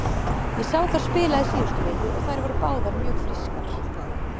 Ég sá þær spila í síðustu viku og þær voru báðar mjög frískar.